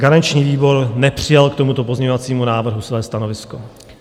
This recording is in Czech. Garanční výbor nepřijal k tomuto pozměňovacímu návrhu své stanovisko.